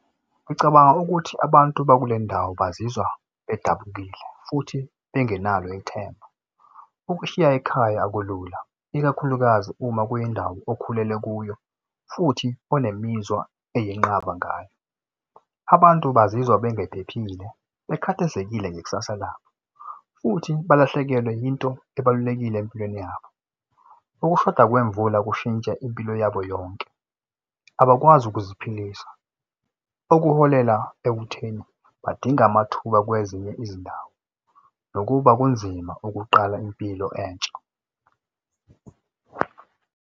Ngicabanga ukuthi abantu bakulendawo bazizwa bedabukile futhi bengenalo ithemba. Ukushiya ekhaya kulula ikakhulukazi uma kuyindawo okhulele kuyo futhi onemizwa eyinqaba ngayo. Abantu bazizwa bengephephile bekhathazekile ngekusasa labo, futhi balahlekelwe yinto ebalulekile empilweni yabo. Ukushoda kwemvula kushintsha impilo yabo yonke, abakwazi ukuziphilisa okuholela ekutheni badinga amathuba kwezinye izindawo nokuba kunzima ukuqala impilo entsha.